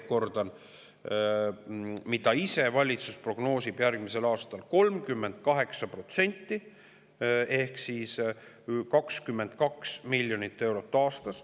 Ma kordan veel kord, et valitsus ise prognoosib järgmisel aastal 38% ehk siis 22 miljoni euro aastas.